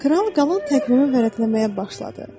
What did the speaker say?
Kral qalan təqvimi vərəqləməyə başladı.